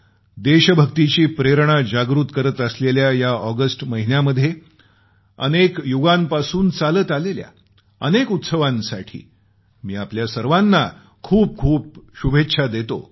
देशभक्तीची प्रेरणा जागृत करत असलेल्या या ऑगस्ट महिन्यामध्ये अनेक युगांपासून चालत आलेल्या अनेक उत्सवांसाठी आपल्या सर्वांना खूपखूप शुभेच्छा देतो